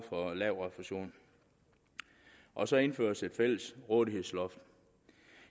for lav refusion og så indføres et fælles rådighedsloft